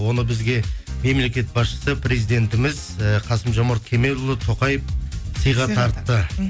оны бізге мемлекет басшысы президентіміз ііі қасым жомарт кемелұлы тоқаев сыйға тартты м